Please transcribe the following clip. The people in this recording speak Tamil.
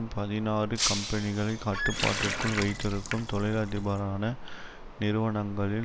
பதினாறு கம்பெனிகளை கட்டுப்பாட்டிற்குள் வைத்திருக்கும் தொழிலதிபரான நிறுவனங்களில்